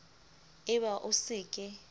e ba o se ke